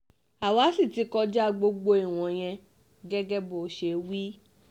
àwa sì ti kọjá gbogbo ìwọ̀nyẹn gẹ́gẹ́ bó ṣe wí